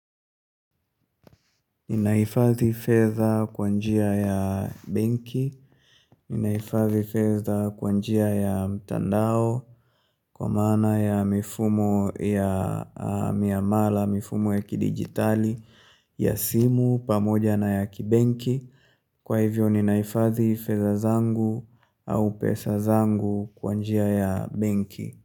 Ninaifadhi fedha kwa njia ya benki. Ninahifadhi fedha kwa njia ya mtandao kwa maana ya mifumo miamala mifumo ya kidijitali ya simu pamoja na ya kibenki. Kwa hivyo, Ninaifadhi fedha zangu au pesa zangu kwa njia ya benki.